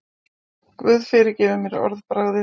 Guð fyrirgefi mér orðbragðið.